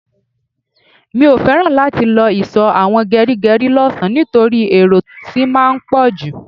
Mio feran láti lọ sí iso àwọn gerigeri lọ sàn nitoripe èrò tí máa ń poju